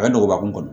A bɛ dɔgɔba kun kɔnɔ